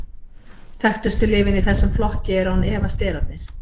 þekktustu lyfin í þessum flokki eru án efa sterarnir